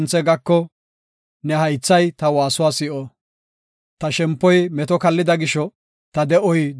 Ta shempoy meto kallida gisho, ta de7oy duufoko matis.